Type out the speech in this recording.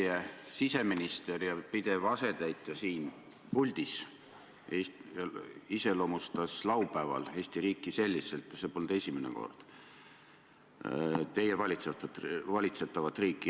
Teie siseminister ja pidev asetäitja siin puldis iseloomustas laupäeval Eesti riiki , teie valitsetavat riiki selliselt.